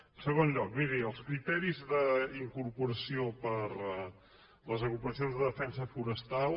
en segon lloc miri els criteris d’incorporació per a les agrupacions de defensa forestal